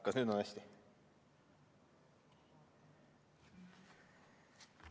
Kas nüüd on hästi?